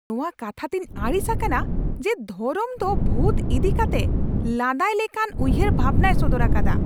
ᱤᱧ ᱱᱚᱣᱟ ᱠᱟᱛᱷᱟ ᱛᱮᱧ ᱟᱹᱲᱤᱥ ᱟᱠᱟᱱᱟ ᱡᱮ ᱫᱷᱚᱨᱚᱢ ᱫᱚ ᱵᱷᱩᱛ ᱤᱫᱤ ᱠᱟᱛᱮᱜ ᱞᱟᱸᱫᱟᱭ ᱞᱮᱠᱟᱱ ᱩᱭᱦᱟᱹᱨ ᱵᱷᱟᱵᱱᱟᱭ ᱥᱚᱫᱚᱨ ᱟᱠᱟᱫᱟ ᱾